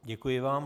Děkuji vám.